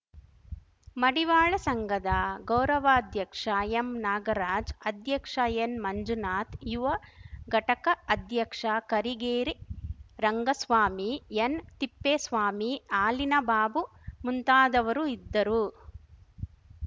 ಮಡಿವಾಳ ಸಂಘದ ಗೌರವಾಧ್ಯಕ್ಷ ಎಂ ನಾಗರಾಜ್ ಅಧ್ಯಕ್ಷ ಎನ್‌ ಮಂಜುನಾಥ ಯುವ ಘಟಕ ಅಧ್ಯಕ್ಷ ಕರೀಗೇರಿ ರಂಗಸ್ವಾಮಿ ಎನ್‌ತಿಪ್ಪೇಸ್ವಾಮಿ ಹಾಲಿನಬಾಬು ಮುಂತಾದವರು ಇದ್ದರು